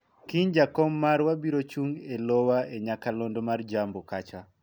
kiny jakom marwa biro chung' e lowa e nyakalondo mar jambo kacha